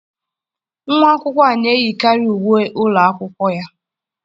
Nwa akwụkwọ na-eyikarị uwe ụlọ akwụkwọ ya.